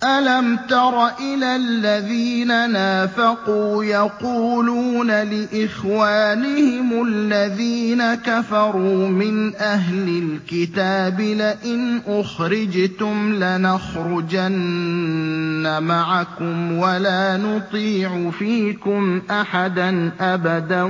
۞ أَلَمْ تَرَ إِلَى الَّذِينَ نَافَقُوا يَقُولُونَ لِإِخْوَانِهِمُ الَّذِينَ كَفَرُوا مِنْ أَهْلِ الْكِتَابِ لَئِنْ أُخْرِجْتُمْ لَنَخْرُجَنَّ مَعَكُمْ وَلَا نُطِيعُ فِيكُمْ أَحَدًا أَبَدًا